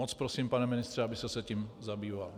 Moc prosím, pane ministře, abyste se tím zabýval.